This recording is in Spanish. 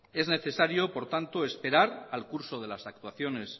es necesario por tanto esperar al curso de las actuaciones